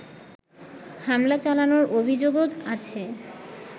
হামলা চালানোর অভিযোগও আছে